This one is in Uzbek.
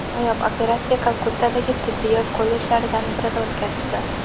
Noyob operatsiya Kalkuttadagi tibbiyot kollejlaridan birida o‘tkazildi.